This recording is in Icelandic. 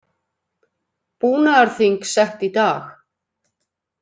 Búnaðarþing sett í dag